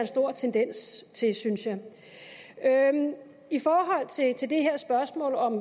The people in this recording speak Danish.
stor tendens til synes jeg i forhold til spørgsmålet om